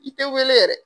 I tɛ wele yɛrɛ